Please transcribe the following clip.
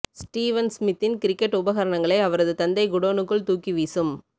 Steven ஸ்மித்தின் cricket உபகரணங்களை அவரது தந்தை குடோனுக்குள் தூக்கி வீசும்